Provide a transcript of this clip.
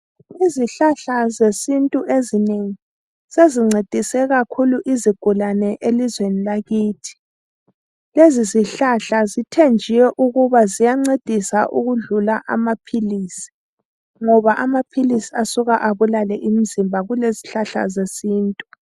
Izihlahla zesintu ezinengi sezincedise kakhulu izigulane elizweni lakithi. Lezizihlahla zithenjiwe ukuba ziyancedisa ukudlula amaphilisi ngoba amaphilisi asuka abulale umzimba kulezihlahla zesintu.